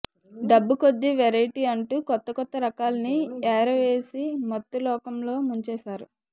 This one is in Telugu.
డబ్బు కొద్దీ వెరైటీ అంటూ కొత్తకొత్త రకాల్ని ఎరవేసి మత్తులోకంలో ముంచేశారు